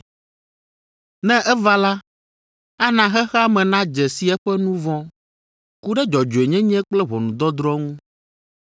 “Ne eva la, ana xexea me nadze si eƒe nu vɔ̃ ku ɖe dzɔdzɔenyenye kple ʋɔnudɔdrɔ̃ ŋu,